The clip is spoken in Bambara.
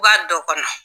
B'a dɔ kɔnɔ